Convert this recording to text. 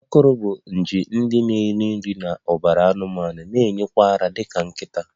Akọrọ bụ nje ndị na-eri nri n'ọbara anụmanụ na-enye nwa ara dị ka nkịta